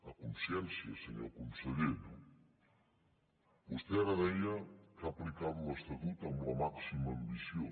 a consciència senyor conseller no vostè ara deia que ha aplicat l’estatut amb la màxima ambició